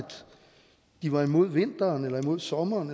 de var imod vinteren eller imod sommeren